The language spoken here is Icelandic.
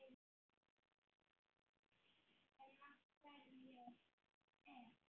En af hverju te?